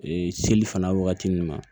Ee seli fana wagati min ma